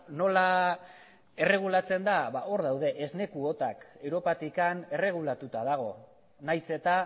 nola erregulatzen da hor daude esne kuotak europatik erregulatuta dago nahiz eta